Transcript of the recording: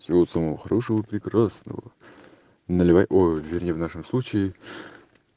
всего самого хорошего прекрасного наливай ой вернее в нашем случае